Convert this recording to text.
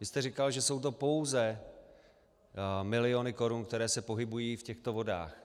Vy jste říkal, že jsou to pouze miliony korun, které se pohybují v těchto vodách.